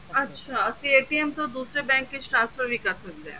ਅੱਛਾ ਅਸੀਂ ਤੋਂ ਦੂਸਰੇ bank ਵਿੱਚ transfer ਵੀ ਕਰ ਸਕਦੇ ਹਾਂ